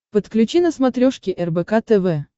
подключи на смотрешке рбк тв